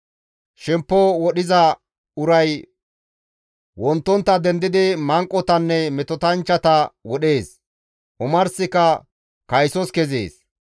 Shempo wodhiza uray wonttontta dendidi manqotanne metotanchchata wodhees; omarsika kaysos kezees.